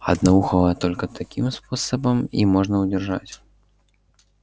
одноухого только таким способом и можно удержать